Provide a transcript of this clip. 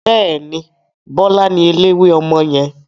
Bẹ́ẹ̀ni, Bọlá ni eléwé ọmọ yẹn.